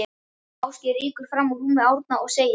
Ásgeir rýkur fram úr rúmi Árna og segir